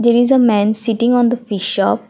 there is a man sitting on the fish shop.